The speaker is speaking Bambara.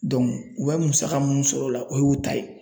u bɛ musaka mun sɔrɔ o la o ye u ta ye.